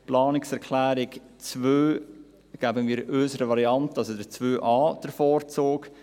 bei der Planungserklärung 2 geben wir unserer Variante, also 2.a, den Vorzug.